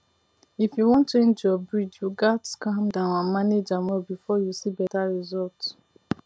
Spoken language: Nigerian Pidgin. if you wan change your breed you gats calm down and manage am well before you see better result